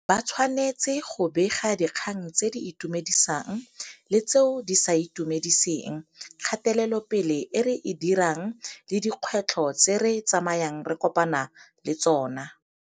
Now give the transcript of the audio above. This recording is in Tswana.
Ba tshwanetse go bega dikgang tse di itumedisang le tseo di sa itumediseng, kgatelopele e re e dirang le dikgwetlho tse re tsamayang re kopana le tsona.